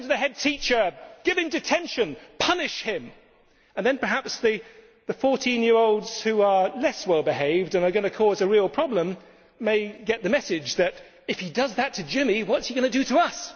Send him to the headteacher. Give him detention. Punish him. And then perhaps the 14 year olds who are less well behaved, and are going to cause a real problem, may get the message that if he does that to Jimmy, what is he going to do to